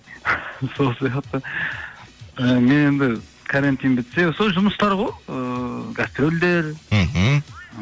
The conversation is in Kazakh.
сол сияқты і мен енді карантин бітсе сол жұмыстар ғой ыыы гастрольдер мхм